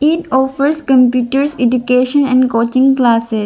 It offers computers education and coaching classe --